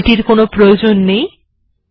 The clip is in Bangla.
এখন আমাদের এটির প্রয়োজন নেই